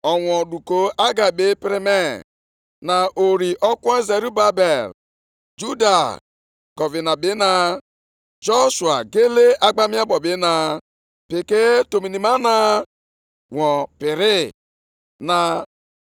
“Gwa Zerubabel nwa Shealtiel, onye na-achị Juda, na Joshua nwa Jehozadak, onyeisi nchụaja, na ndị Izrel ahụ fọdụrụ nʼala ahụ sị: